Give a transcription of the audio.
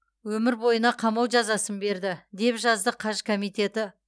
өмір бойына қамау жазасын берді деп жазды қаж комитеті